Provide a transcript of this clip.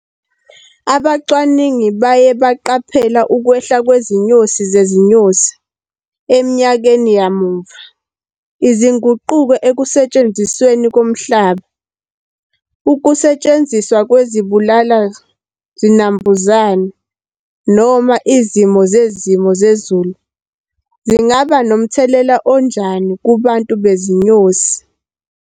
Abacwaningi baye baqaphela ukwehla kwezinyoni zezinyosi, eminyakeni yamuva, izinguquko ekusentshenzisweni komhlaba. Ukusetshenziswa kwezibulala zinambuzane noma izimo zezimo zezulu, zingaba nomthelela onjani kubantu bezinyosi.